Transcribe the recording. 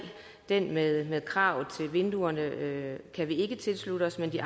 det med kravene til vinduerne kan vi ikke tilslutte os men de